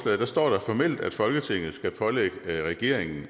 står der formelt at folketinget skal pålægge regeringen